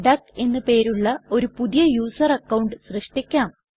duck എന്ന് പേരുള്ള ഒരു പുതിയ യുസർ അക്കൌണ്ട് സൃഷ്ടിക്കാം